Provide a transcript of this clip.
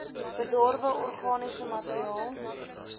bedorwe organiese materiaal